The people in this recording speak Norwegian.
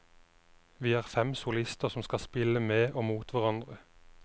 Vi er fem solister som skal spille med og mot hverandre.